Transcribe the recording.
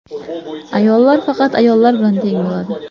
Ayollar faqat ayollar bilan teng bo‘ladi.